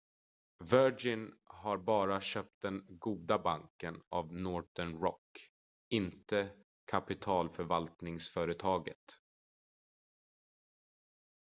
"virgin har bara köpt den "goda banken" av northern rock inte kapitalförvaltningsföretaget.